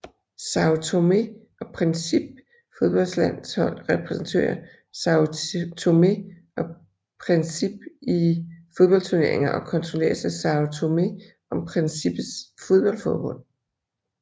São Tomé og Príncipes fodboldlandshold repræsenterer São Tomé og Príncipe i fodboldturneringer og kontrolleres af São Tomé og Príncipes fodboldforbund